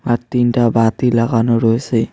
আর তিনটা বাতি লাগানো রয়েসে।